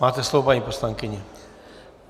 Máte slovo, paní poslankyně.